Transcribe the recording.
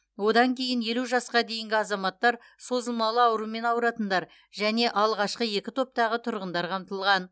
одан кейін елу жасқа дейінгі азаматтар созылмалы аурумен ауыратындар және алғашқы екі топтағы тұрғындар қамтылған